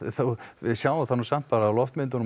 við sjáum það samt á loftmyndum